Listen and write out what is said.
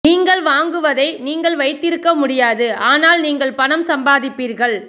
நீங்கள் வாங்குவதை நீங்கள் வைத்திருக்க முடியாது ஆனால் நீங்கள் பணம் சம்பாதிப்பீர்கள்